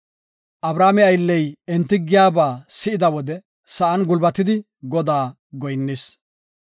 Abrahaame aylley enti giyaba si7ida wode, sa7an gulbatidi Godaas goyinnis.